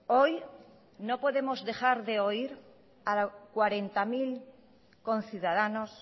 hoy no podemos dejar de oír a cuarenta mil conciudadanos